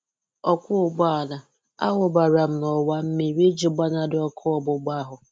Ọkwọ-ụgbọala: Awụbara m n'ọwa mmiri iji gbanarị ọkụ ọgbugba ahụ.